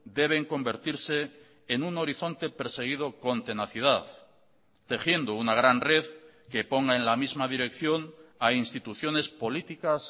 deben convertirse en un horizonte perseguido con tenacidad tejiendo una gran red que ponga en la misma dirección a instituciones políticas